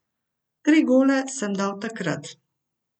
Tri gole sem dal takrat.